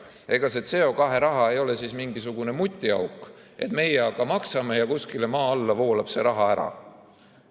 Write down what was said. Ega see CO2 raha ei ole siis mingisugune mutiauk, et meie aga maksame ja kuskile maa alla voolab see raha ära.